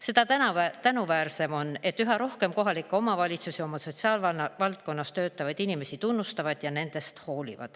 Seda tänuväärsem on, et üha rohkem kohalikke omavalitsusi oma sotsiaalvaldkonnas töötavaid inimesi tunnustab ja nendest hoolib.